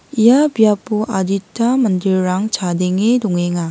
ia biapo adita manderang chadenge dongenga.